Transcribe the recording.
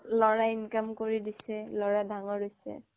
লৰা income কৰি দিছে লৰা ডাঙৰ হৈছে